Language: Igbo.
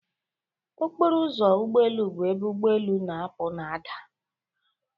Ọkpọrọ ụzọ ụgbọ elụ bụ ebe ụgbọ elu na-apụ na ada.